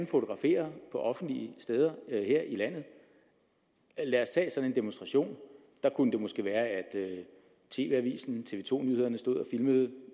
fotografere på offentlige steder her i landet lad os tage en demonstration der kunne det måske være at tv avisen eller tv to nyhederne stod og filmede at